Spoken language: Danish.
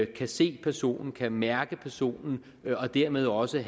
kan se personen kan mærke personen og dermed også